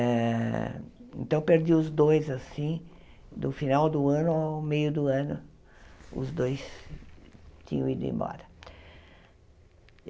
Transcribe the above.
Eh então, perdi os dois assim, do final do ano ao meio do ano, os dois tinham ido embora.